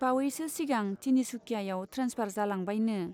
बावयैसो सिगां तिनिसुकियायाव ट्रेन्सफार जालांबायनो।